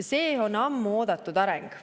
See on ammu oodatud areng.